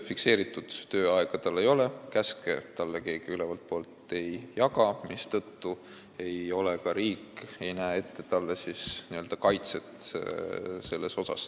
Fikseeritud tööaega tal ei ole, käske talle keegi ülevaltpoolt ei jaga, mistõttu ei näe riik ette talle siis siin n-ö kaitset.